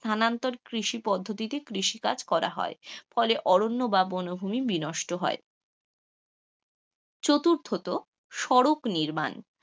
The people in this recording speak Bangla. স্থানান্তর কৃষি পদ্ধতিতে কৃষি কাজ করা হয়, তাই ফলে অরণ্য বা বন ভূমি বিনষ্ট হয়. চতুর্থত সড়ক নির্মাণ,